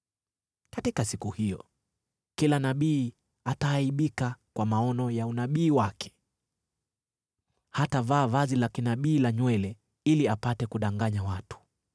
“Katika siku hiyo, kila nabii ataaibika kwa maono ya unabii wake. Hatavaa vazi la kinabii la nywele ili apate kudanganya watu.